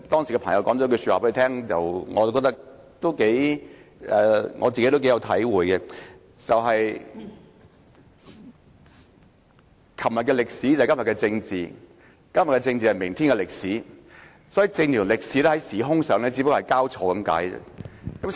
他朋友當時對他說了一句話，我亦頗有體會，他說："昨天的歷史，便是今天的政治；今天的政治，便是明天的歷史"，政治和歷史只不過是時空交錯而已。